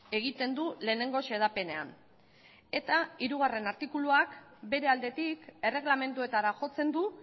egiten du lehenengo xedapenean eta hirugarren artikuluak bere aldetik erregelamenduetara jotzen du